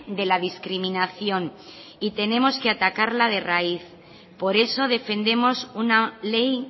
de la discriminación y tenemos que atacarla de raíz por eso defendemos una ley